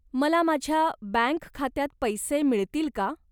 मला माझ्या बँक खात्यात पैसे मिळतील का?